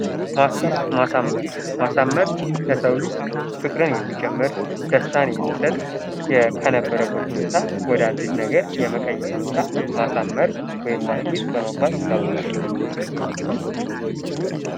ማስጌጥ ማሳመር :-ማሳመር ለሰው ልጅ ፍቅርን የሚጨምር ፣ደስታን የሚሠጥ ከነበረበት ሁኔታ ወደ አዲስ ነገር የመቀየር ሁኔታ ማሳመር ወይም ማስጌጥ በመባል ይታወቃል።